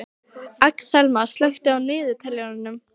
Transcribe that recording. Axelma, slökktu á niðurteljaranum.